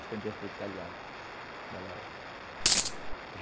Ascendente de italianos, ela